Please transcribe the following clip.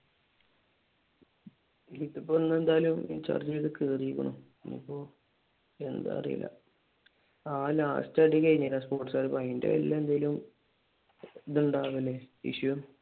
ഇല്ല ഇതിപ്പോ എന്തായാലും in charge ചെയ്തേ കേറിക്കാണ് എന്താ അറീല്ല ആഹ് last അടിക്കഴിഞ്ഞ് സ്പോർട്സുകരും ആയിട്ട് അതിന്റെ പേരിൽ എന്തെങ്കിലും ഉണ്ടാവല് issue